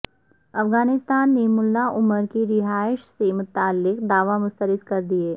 افغانستان نے ملا عمر کی رہائش سے متعلق دعوے مسترد کر دیے